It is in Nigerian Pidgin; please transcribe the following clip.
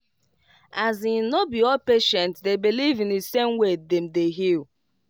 as in no be all patient dey believe in the same way dem dey heal